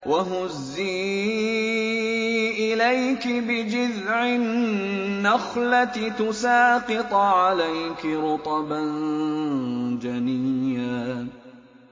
وَهُزِّي إِلَيْكِ بِجِذْعِ النَّخْلَةِ تُسَاقِطْ عَلَيْكِ رُطَبًا جَنِيًّا